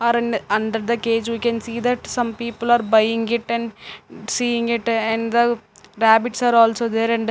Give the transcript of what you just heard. Are in under the cage. We can see that some people are buying it and seeing it and the rabbits are also there and --